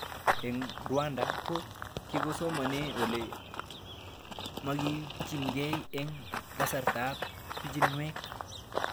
Eng' Rwanda ko kikisomanee ole makirikchinigei eng' kasartab pichinwek